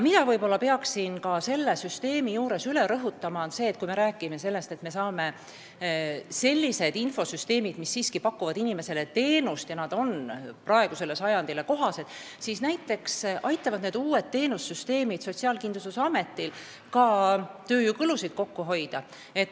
Mida ma peaksin ka selle teema puhul rõhutama, on see, et kui me saame sellised infosüsteemid, mis pakuvad inimestele teenust ja on praegusele sajandile kohased, siis need aitavad Sotsiaalkindlustusametil ka tööjõukulusid kokku hoida.